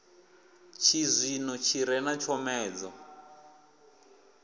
tshizwino i re na tshomedzo